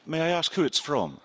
May I ask who it is from?